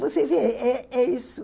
Você vê, é é é isso.